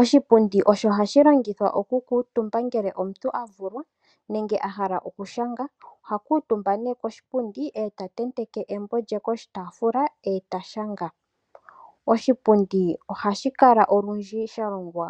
Oshipundi osho hashi longithwa okukuutumba ngele omuntu avulwa nenge ahala okushanga. Oha kuutumba nee koshipundi eta tatenteke embo lye koshitafuula eta shanga. Oshipundi ohashi kala olundji shalongwa